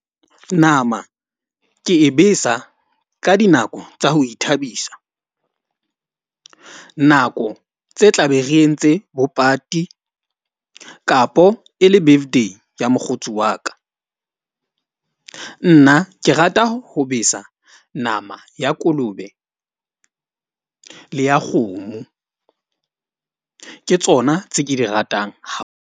Nama ke e besa ka dinako tsa ho ithabisa. Nako tse tla be re entse bo pati kapo e le birthday ya mokgotsi wa ka. Nna ke rata ho besa nama ya kolobe le ya kgomo. Ke tsona tse ke di ratang .